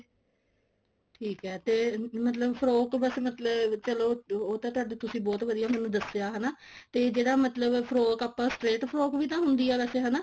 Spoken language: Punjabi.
ਠੀਕ ਐ ਤੇ ਮਤਲਬ frock ਬਸ ਮਤਲਬ ਚਲੋ ਉਹ ਤਾਂ ਤੁਸੀਂ ਬਹੁਤ ਵਧੀਆ ਮੈਨੂੰ ਦੱਸਿਆ ਹਨਾ ਤੇ ਜਿਹੜਾ ਮਤਲਬ frock ਆਪਾਂ straight frock ਵੀ ਹੁੰਦੀ ਐ ਵੈਸੇ